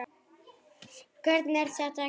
Hvernig er þetta gert?